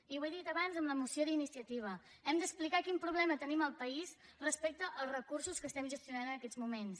i ho he dit abans en la moció d’iniciativa hem d’explicar quin problema tenim al país respecte als recursos que estem gestionant en aquests moments